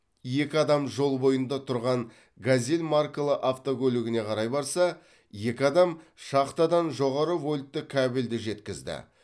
екі адам жол бойында тұрған газель маркалы автокөлігіне қарай барса екі адам шахтадан жоғары вольтты кабелді жеткізді